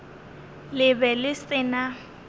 le be le se na